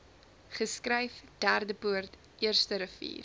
geskryf derdepoort eersterivier